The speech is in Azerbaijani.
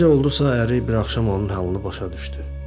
Necə oldusa əri bir axşam onun halını başa düşdü.